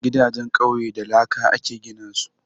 Gidajen ƙauye da laka aka gina su